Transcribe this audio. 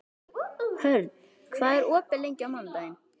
Hörn, hvað er opið lengi á mánudaginn?